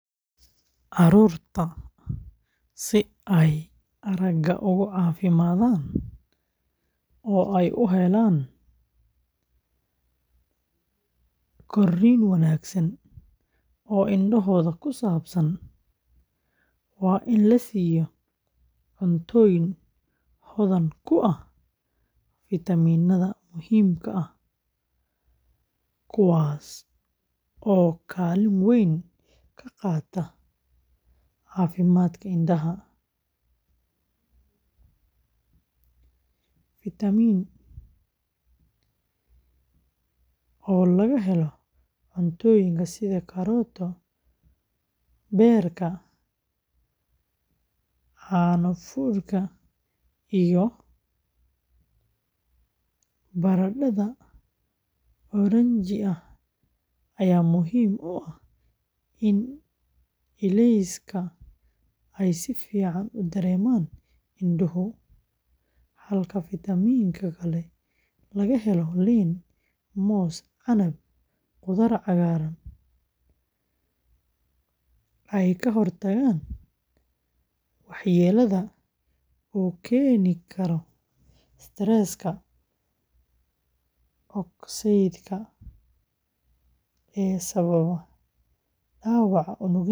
Carruurtu si ay aragga uga caafimaadaan oo ay u helaan korriin wanaagsan oo indhahooda ku saabsan, waa in la siiyo cuntooyin hodan ku ah fiitamiinnada muhiimka ah, kuwaas oo kaalin weyn ka qaata caafimaadka indhaha. Fiitamiin oo laga helo cunnooyinka sida karooto, beed, beerka, caano fuudka iyo baradhada oranji ah ayaa muhiim u ah in ilayska ay si fiican u dareemaan indhuhu, halka fiitamiin nada oo laga helo liin, moos, canab, khudaar cagaaran sida spinach iyo broccoli ay ka hortagaan waxyeellada uu keeni karo stress-ka oksaydhka ee sababa dhaawaca unugyada isha.